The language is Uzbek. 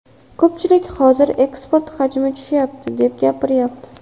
Ko‘pchilik hozir eksport hajmi tushyapti, deb gapiryapti.